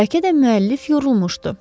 Bəlkə də müəllif yorulmuşdu.